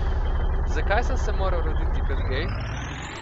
Zakaj sem se moral roditi kot gej?